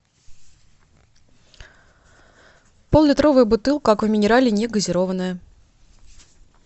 пол литровая бутылка аква минерале негазированная